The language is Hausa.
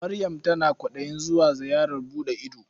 Maryam tana kwaɗayin zuwa ziyarar buɗe ido.